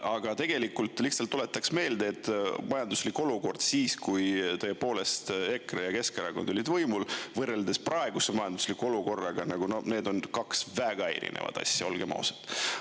Aga tegelikult lihtsalt tuletaks meelde, et majanduslik olukord siis, kui tõepoolest EKRE ja Keskerakond olid võimul, võrreldes praeguse majandusliku olukorraga nagu, need on kaks väga erinevat asja, olgem ausad.